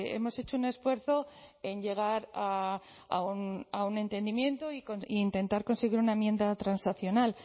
hemos hecho un esfuerzo en llegar a un entendimiento e intentar conseguir una enmienda transaccional